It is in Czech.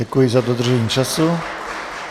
Děkuji za dodržení času.